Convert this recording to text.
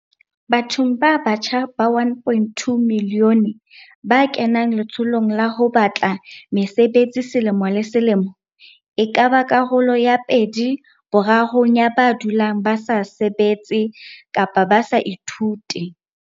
Bathong ba batjha ba 1.2 milione ba kenang letsholong la ho ba tla mesebetsi selemo le se lemo, e ka ba karolo ya pedi borarong ya ba dulang ba sa sebetse kapa ba sa ithute.